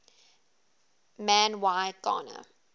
man y gana